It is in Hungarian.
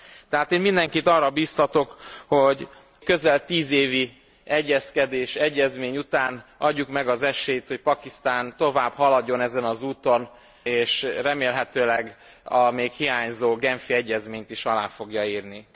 Tehát én mindenit arra biztatok, hogy közel tízéves egyezkedés, egyezmény után adjuk meg az esélyt, hogy Pakisztán tovább haladjon ezen az úton, és remélhetőleg a még hiányzó genfi egyezményt is alá fogja írni.